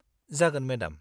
-जागोन मेडाम।